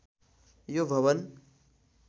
यो भवन